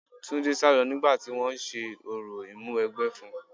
Túndé sálọ nígbà tí wọn ń ṣe orò ìmúwẹgbẹ́ fún-un.